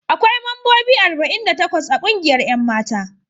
Akwai mambobi arba'in da takwas a kungiyar 'yan mata.